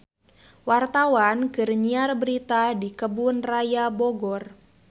Wartawan keur nyiar berita di Kebun Raya Bogor